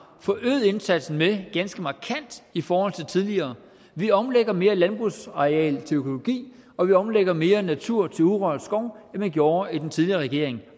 forøget indsatsen med ganske markant i forhold til tidligere vi omlægger mere landbrugsareal til økologi og vi omlægger mere natur til urørt skov end man gjorde i den tidligere regering